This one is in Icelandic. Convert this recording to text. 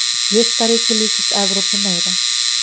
jurtaríkið líkist evrópu meira